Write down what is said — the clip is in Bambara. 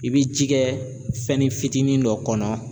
I bi ji kɛ fɛnnin fitinin dɔ kɔnɔ